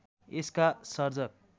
यसका सर्जक